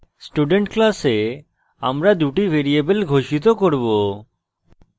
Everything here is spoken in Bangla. student class আমরা দুটি ভ্যারিয়েবল ঘোষিত করব